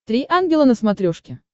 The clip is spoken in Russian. три ангела на смотрешке